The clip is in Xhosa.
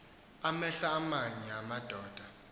amehlo aamanye amadoda